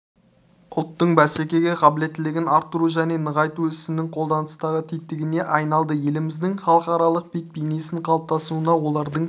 ұлттың бәсекеге қабілеттілігін арттыру және нығайту ісінің қолданыстағы тетігіне айналды еліміздің халықаралық бет-бейнесінің қалыптасуына олардың